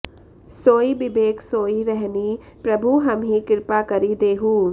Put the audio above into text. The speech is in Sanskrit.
सोइ बिबेक सोइ रहनि प्रभु हमहि कृपा करि देहु